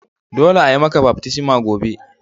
Dolle a'yi maka baftisma gobe.